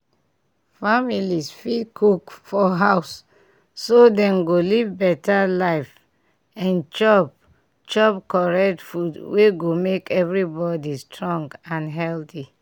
families fit cook for house so dem go live better life and chop chop correct food wey go make everybody strong and healthy.